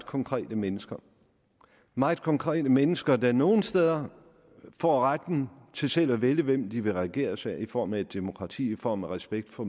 konkrete mennesker meget konkrete mennesker der nogle steder får retten til selv at vælge hvem de vil regeres af i form af et demokrati i form af respekt for